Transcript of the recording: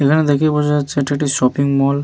এখানে দেখেই বোঝা যাচ্ছে এটা একটি শপিং মল ।